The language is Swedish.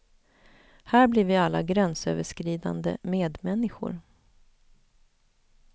Här blir vi alla gränsöverskridande medmänniskor.